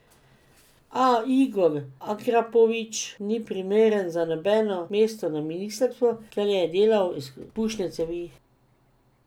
A Igor Akrapovič ni primeren za nobeno mesto na ministrstvu, ker je delal izpušne cevi?